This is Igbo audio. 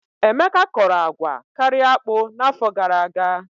Emeka kọrọ agwa karịa akpụ n'afọ gara aga.